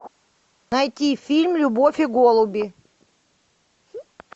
найти фильм любовь и голуби